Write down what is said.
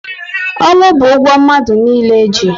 Ọnwụ bu ụgwọ mmadụ niile ji